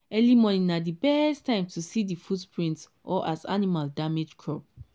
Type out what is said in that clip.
early morning na di best time to see di footprint or as animal damage crop.